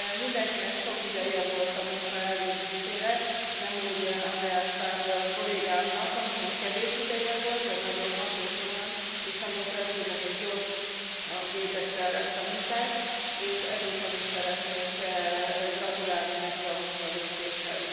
Mindenkinek sok ideje volt a munka elvégzésére, nem úgy Andreas Schwab kollégámnak, akinek kevés ideje volt, de nagyon hatékonyan és nagyon precízen és gyorsan végezte el ezt a munkát, és ezúton is szeretnék gratulálni neki a munkavégzéshez.